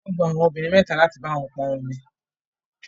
Wọ́n gba àwọn obìnrin mẹ́ta láti bá wọn pọn omi